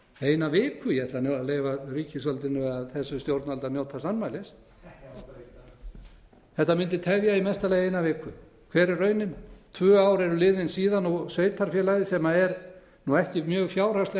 eina viku ég ætla nú að leyfa ríkisvaldinu eða þessu stjórnvaldi að njóta sannmælis þetta mundi tefja í mesta lagi eina viku hver er raunin tvö ár eru liðin síðan og sveitarfélagið sem er nú ekki mjög fjárhagslega